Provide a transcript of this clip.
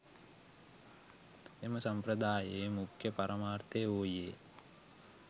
එම සම්ප්‍රදායේ මුඛ්‍ය පරමාර්ථය වූයේ